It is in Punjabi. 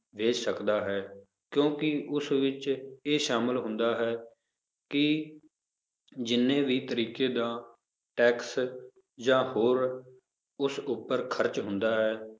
ਦੇ ਸਕਦਾ ਹੈ ਕਿਉਂਕਿ ਉਸ ਵਿੱਚ ਇਹ ਸ਼ਾਮਿਲ ਹੁੰਦਾ ਹੈ ਕਿ ਜਿੰਨੇ ਵੀ ਤਰੀਕੇ ਦਾ ਟੈਕਸ ਜਾਂ ਹੋਰ ਉਸ ਉੱਪਰ ਖ਼ਰਚ ਹੁੰਦਾ ਹੈ